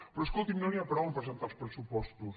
però escolti no n’hi ha prou a presentar els pressu·postos